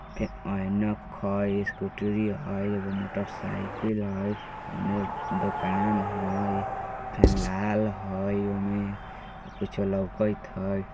एक ऐनक हय स्कूटरी हय एगो मोटरसाइकिल हय उने एक दुकान हय फेन लाल हय ओमे कुछ लउकत हय।